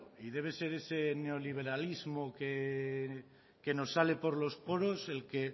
y debe de ser ese neoliberalismo que nos sale por los poros el que